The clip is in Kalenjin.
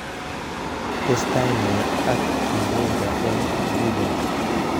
Testai nee ak Kimbunga eng Ghuba